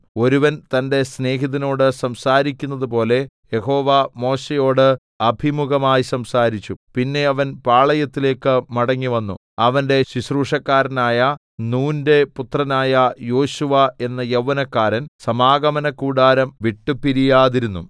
ഒരുവന്‍ തന്റെ സ്നേഹിതനോട് സംസാരിക്കുന്നതുപോലെ യഹോവ മോശെയോട് അഭിമുഖമായി സംസാരിച്ചു പിന്നെ അവൻ പാളയത്തിലേക്ക് മടങ്ങിവന്നു അവന്റെ ശുശ്രൂഷക്കാരനായ നൂന്റെ പുത്രനായ യോശുവ എന്ന യൗവനക്കാരൻ സമാഗമനകൂടാരം വിട്ടുപിരിയാതിരുന്നു